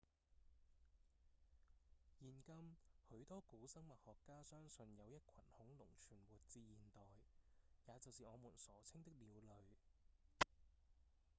現今許多古生物學家相信有一群恐龍存活至現代也就是我們所稱的鳥類